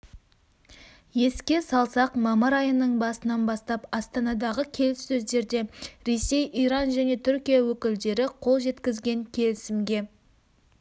еске салсақ мамыр айының басынан бастап астанадағы келіссөздерде ресей иран және түркия өкілдері қол жеткізген келісімге